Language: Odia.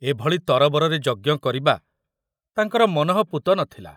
ଏଭଳି ତରବରରେ ଯଜ୍ଞ କରିବା ତାଙ୍କର ମନଃପୂତ ନ ଥିଲା।